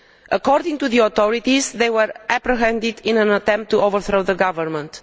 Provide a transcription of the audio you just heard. According to the authorities, they were apprehended in an attempt to overthrow the government.